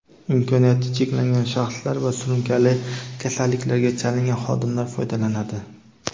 imkoniyati cheklangan shaxslar va surunkali kasalliklarga chalingan xodimlar foydalanadi.